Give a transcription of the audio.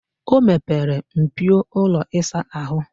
O mepere mpio ụlọ ịsa ahụ.